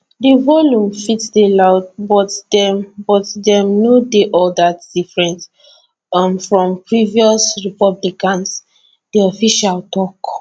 di volume fit dey loud but dem but dem no dey all dat different um from previous republicans di official tok